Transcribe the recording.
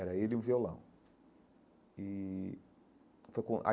Era ele e um violão e foi com.